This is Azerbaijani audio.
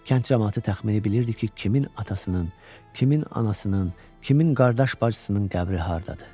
Kənd camaatı təxmini bilirdi ki, kimin atasının, kimin anasının, kimin qardaş bacısının qəbri hardadır.